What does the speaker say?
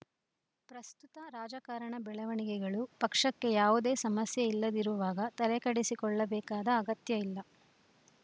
ಪ್ರಸ್ತುತ ರಾಜಕಾರಣ ಬೆಳವಣಿಗೆಗಳು ಪಕ್ಷಕ್ಕೆ ಯಾವುದೇ ಸಮಸ್ಯೆ ಇಲ್ಲದಿರುವಾಗ ತಲೆಕೆಡಿಸಿಕೊಳ್ಳಬೇಕಾದ ಅಗತ್ಯ ಇಲ್ಲ